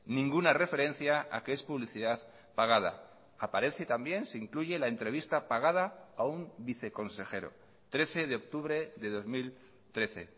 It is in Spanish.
ninguna referencia a que es publicidad pagada aparece también se incluye la entrevista pagada a un viceconsejero trece de octubre de dos mil trece